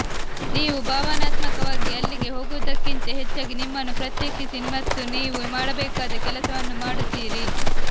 ನೀವು ಭಾವನಾತ್ಮಕವಾಗಿ ಅಲ್ಲಿಗೆ ಹೋಗುವುದಕ್ಕಿಂತ ಹೆಚ್ಚಾಗಿ ನಿಮ್ಮನ್ನು ಪ್ರತ್ಯೇಕಿಸಿ ಮತ್ತು ನೀವು ಮಾಡಬೇಕಾದ ಕೆಲಸವನ್ನು ಮಾಡುತ್ತೀರಿ